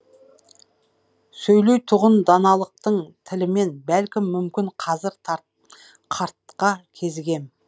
сөйлейтұғын даналықтың тілімен бәлкім мүмкін қазір қартқа кезігем